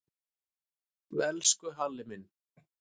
Elsku Halli minn.